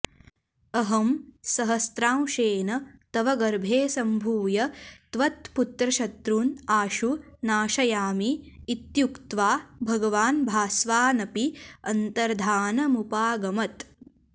अहं सहस्रांशेन तव गर्भे सम्भूय त्वत्पुत्रशत्रून् आशु नाशयामि इत्युक्त्वा भगवान् भास्वानपि अन्तर्द्धानमुपागमत्